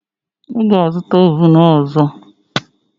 Ị ga-azụta ovun ọzọ.